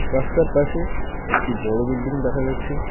রাস্তার পাশে একটি বড় বিল্ডিং দেখা যাচ্ছে।